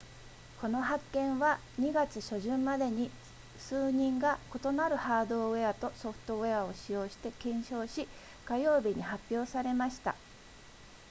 この発見は2月初旬までに数人が異なるハードウェアとソフトウェアを使用して検証し火曜日に発表されました